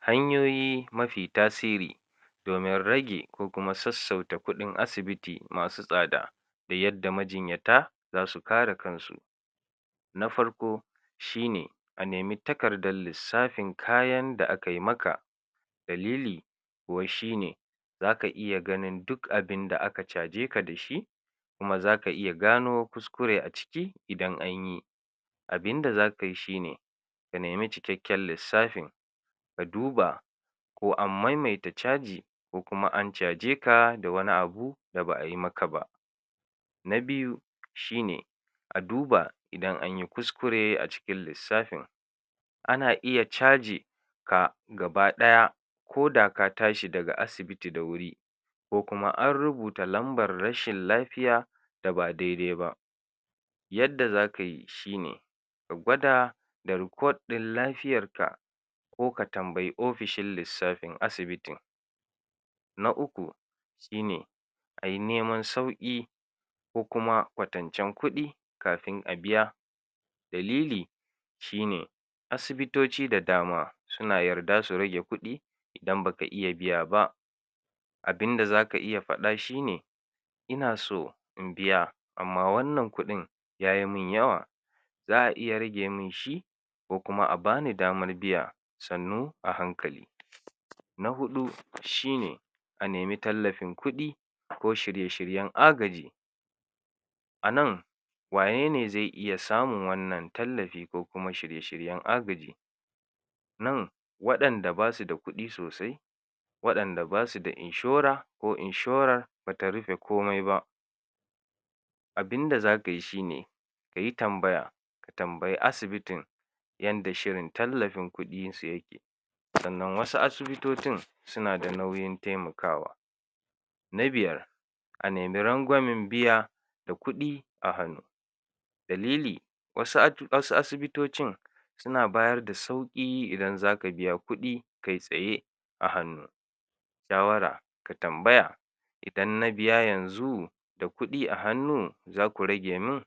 Hanyoyi mafi tasiri domin rage ko kuma sassauta kuɗin asibiti masu tsada da yadda majinyata zasu kare kansu. Na farko: Shine: Anemi takardal lissafin kayan da akai maka dalili kuwa shine: zaka iya ganin duk abinda aka cajeka da shi kuma zaka iya gano kuskure a ciki idan anyi, abinda zakai shine ka nemi cikakken lissafin ka duba ko an maimaita caji ko kuma an caje ka da wani abu da ba'ai maka ba. Na biyu: Shine a duba idan anyi kuskure a cikin lissafin, ana iya caji ka gaba ɗaya koda ka tashi daga asibiti da wuri, ko kuma an rubuta lambar rashin lafiya da ba daidai ba, yadda zakai shine ka gwada da report ɗin lafiyarka ko ka tambayi ofishin lissafin asibitin. Na uku: Shine ayi neman sauƙi ko kuma kwatancen kuɗi kafin a biya, dalili shine asibitoci da dama suna yarda su rage kuɗi idan baka iya biya ba, abinda zaka iya faɗa shine: Ina so in biya amma wannan kuɗin yayi min yawa za'a iya rage min shi ko kuma abani damar biya sannu a hankali. Na huɗu shine: A nemi tallafin kuɗi ko shirye shiryen agaji, a nan wanene ze iya samun wannan tallafi ko kuma shirye shiryen agaji? nan waɗanda basu da kuɗi sosai waɗanda basu da inshora, ko inshorar bata rufe komai ba, abinda zakayi shine kayi tambaya ka tambayi asibitin yanda shirin tallafin kuɗinsu yake, sannan wasu asibitotin sina da nauyin taimakawa. Na biyar: A nemi rangwamen biya da kuɗi a hannu, dalili wasu at... wasu asibitocin sina bayarda sauƙi idan zaka biya kuɗi kai tsaye a hannu, shawara ka tambaya idan na biya yanzu da kuɗi a hannu zaku rage min?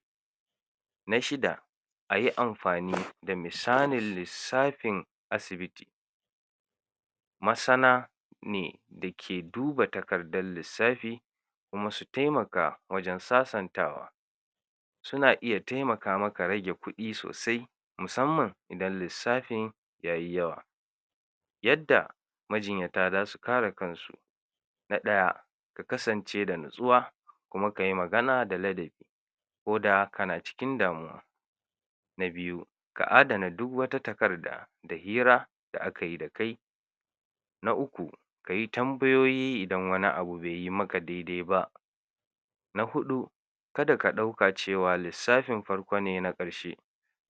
Na shida: Ayi amfani da misanin lissafin asibiti, masana ne da ke duba takardal lissafi kuma su temaka wajen sasantawa, suna iya taimaka maka rage kuɗi sosai musamman idan lissafin yayi yawa, yadda majinyata zasu kare kansu: Na ɗaya: Ka kasance da natsuwa kuma kayi magana da ladabi koda kana cikin damuwa. Na biyu ka adana duwwata takarda da hira da aka yi da kai. Na uku: Kayi tambayoyi idan wani abu beyi maka daidai ba. Na huɗu: Kada ka ɗauka cewa lissafin farko ne na ƙarshe,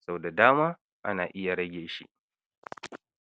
sau da dama ana iya rage shi.